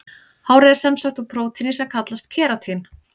Hárið er sem sagt úr prótíni sem kallast keratín.